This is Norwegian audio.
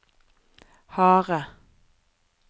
harde